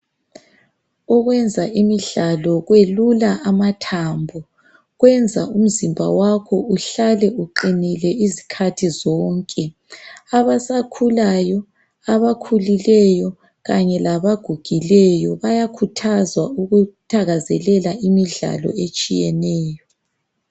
Ukwenza imidlalo kwelula amathambo. Kwenza umzimba wakho uhlale uqinile izikhathi zonke. Abasakhulayo, abakhulileyo kanye labagugileyo bayakhuthazwa ukuthakazelela imidlalo etshiyeneyo.